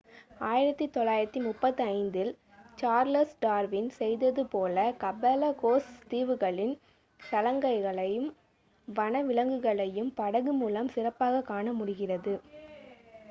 1835 இல் Charles Darwin செய்தது போல கலபகோஸ் தீவுகளின் தலங்களையும் வனவிலங்குகளையும் படகு மூலம் சிறப்பாக காணமுடிகிறது